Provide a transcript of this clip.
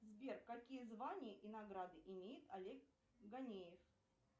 сбер какие звания и награды имеет олег ганеев